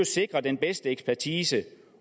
sikre den bedste ekspertise